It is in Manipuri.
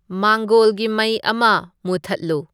ꯃꯥꯡꯒꯣꯜꯒꯤ ꯃꯩ ꯑꯃ ꯃꯨꯊꯠꯂꯨ